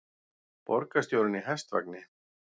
Borgarstjórinn í hestvagni